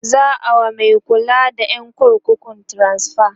za'a wa Mai kulawa da ƴan kurkukun transfa